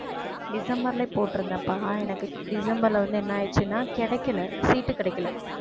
டிசம்பர்லயே போட்டுருந்தேன்ப்பா எனக்கு டிசம்பர்ல வந்து என்ன ஆயிடுச்சுன்னா கிடைக்கலை seat கிடைக்கலை